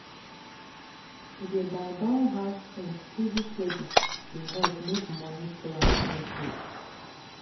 to dey buy buy house things steady steady dey help make money plan no shake.